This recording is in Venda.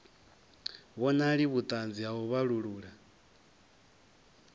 vhonali vhuṱanzi ha u vhalulula